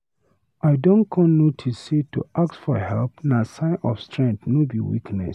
I don con notice sey to ask for help na sign of strength, no be weakness.